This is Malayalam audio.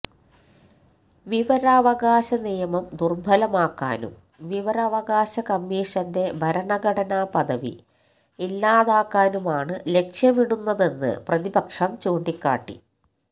വിവരാവകാശ നിയമം ദുർബലമാക്കാനും വിവരാവകാശ കമ്മിഷന്റെ ഭരണഘടനപദവി ഇല്ലാതാക്കാനുമാണ് ലക്ഷ്യമിടുന്നതെന്ന് പ്രതിപക്ഷം ചൂണ്ടിക്കാട്ടി